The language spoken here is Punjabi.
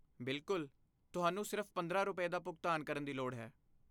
ਬਿਲਕੁਲ, ਤੁਹਾਨੂੰ ਸਿਰਫ਼ ਪੰਦਰਾਂ ਰੁਪਏ, ਦਾ ਭੁਗਤਾਨ ਕਰਨ ਦੀ ਲੋੜ ਹੈ